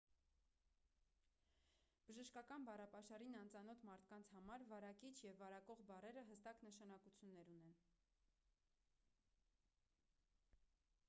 բժշկական բառապաշարին անծանոթ մարդկանց համար վարակիչ և վարակող բառերը հստակ նշանակություններ ունեն